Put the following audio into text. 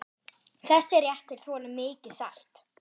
Þessi réttur þolir mikið salt.